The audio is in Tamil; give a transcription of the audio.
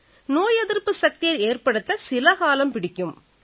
நோய் எதிர்ப்பு சக்தியை ஏற்படுத்த சில காலம் பிடிக்கும்